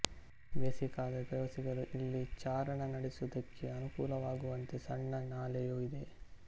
ಬೇಸಿಗೆಕಾಲದಲ್ಲಿ ಪ್ರವಾಸಿಗರು ಇಲ್ಲಿ ಚಾರಣ ನಡೆಸುವುದಕ್ಕೆ ಅನುಕೂಲವಾಗುವಂತೆ ಸಣ್ಣ ನಾಲೆಯೂ ಇದೆ